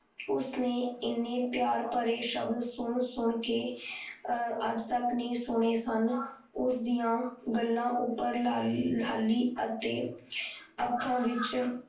ਉਸ ਨੇ ਇਨੇ ਪਿਆਰ ਭਰੇ ਸਬਦ ਸੁਣ ਸੁਣ ਕ ਅੱਜ ਤੱਕ ਨਹੀਂ ਸੁਣੇ ਸਨ ਉਸ ਦੀਆਂ ਗੱਲਾਂ ਉੱਪਰ ਲਾਲੀ ਅਤੇ ਅੱਖਾਂ ਵਿੱਚ